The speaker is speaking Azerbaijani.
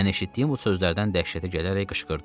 Mən eşitdiyim bu sözlərdən dəhşətə gələrək qışqırdım.